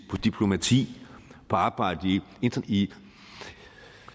diplomati og arbejdet i